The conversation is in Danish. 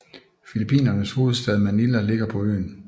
Filippinernes hovedstad Manila ligger på øen